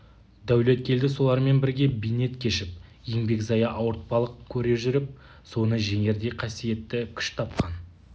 дәулеткелді солармен бірге бейнет кешіп еңбек зая ауыртпалық көре жүріп соны жеңердей қасиетті күш тапқан